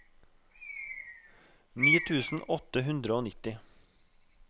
ni tusen åtte hundre og nitti